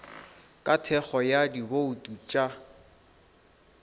ka thekgo ya dibouto tša